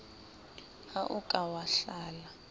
ha o ka wa hlala